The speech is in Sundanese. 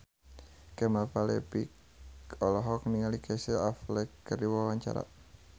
Kemal Palevi olohok ningali Casey Affleck keur diwawancara